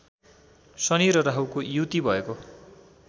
शनि र राहुको युति भएको